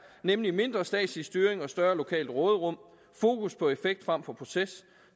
nemlig mindre statslig styring og større lokalt råderum fokus på effekt frem for proces